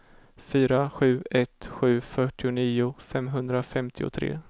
fyra sju ett sju fyrtionio femhundrafemtiotre